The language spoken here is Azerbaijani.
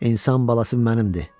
İnsan balası mənimdir.